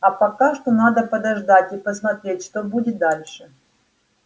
а пока что надо подождать и посмотреть что будет дальше